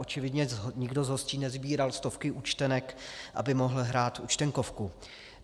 Očividně nikdo z hostí nesbíral stovky účtenek, aby mohl hrát Účtenkovku.